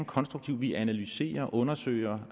konstruktiv vi analyserer og undersøger